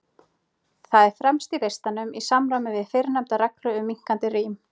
Það er fremst í listanum, í samræmi við fyrrnefnda reglu um minnkandi rím.